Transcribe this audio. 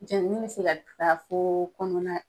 Jɛnini be se taa foo kɔnɔna